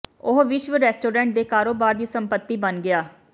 ਉਹ ਵਿਸ਼ਵ ਰੈਸਟੋਰੈਂਟ ਦੇ ਕਾਰੋਬਾਰ ਦੀ ਸੰਪਤੀ ਬਣ ਗਿਆ